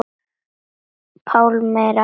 Pálmi Ragnar.